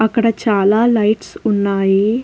అక్కడ చాలా లైట్స్ ఉన్నాయి.